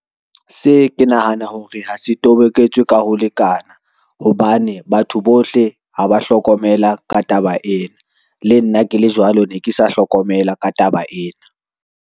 Se ke nahana hore ha se toboketswe ka ho lekana, hobane batho bohle ha ba hlokomela ka taba ena. Le nna ke le jwalo ne ke sa hlokomela ka taba ena.